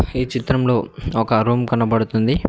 ఈ చిత్రంలో ఒక రూమ్ కనబడుతుంది.